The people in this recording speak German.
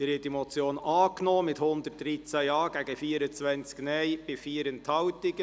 Sie haben diese Motion angenommen mit 113 Ja-, gegen 24 Nein-Stimmen und 4 Enthaltungen.